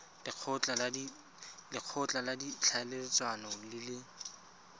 lekgotla la ditlhaeletsano le le